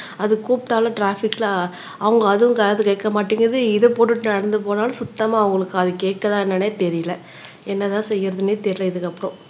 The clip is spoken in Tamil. அது கூப்பிட்டாலும் ட்ராபிக்ல அவங்க அதுவும் காது கேட்க மாட்டேங்குது இதை போட்டுட்டு நடந்து போனாலும் சுத்தமா அவங்களுக்கு காது கேக்குதா என்னன்னே தெரியலே என்னதான் செய்யறதுன்னே தெரியலே இதுக்கு அப்புறம்